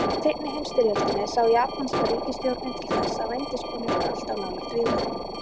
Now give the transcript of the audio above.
Í seinni heimsstyrjöldinni sá japanska ríkisstjórnin til þess að vændiskonur væru alltaf nálægt vígvöllunum.